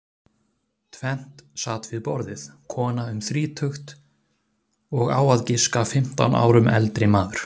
Tvennt sat við borðið, kona um þrítugt og á að giska fimmtán árum eldri maður.